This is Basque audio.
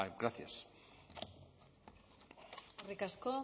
gracias eskerrik asko